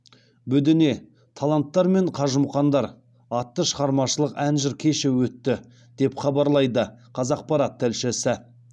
бөдене таланттар мен қажымұқандар атты шығармашылық ән жыр кеші өтті деп хабарлайды қазақпарат тілшісі